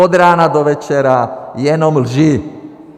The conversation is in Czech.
Od rána do večera jenom lži.